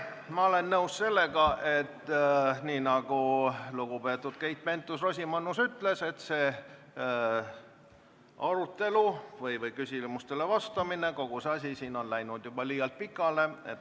Ma olen nõus, et nii nagu lugupeetud Keit Pentus-Rosimannus ütles, see arutelu või küsimustele vastamine, kogu see asi siin on läinud juba liialt pikale.